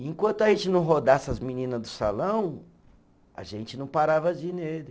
E enquanto a gente não rodasse as menina do salão, a gente não parava de ir nele.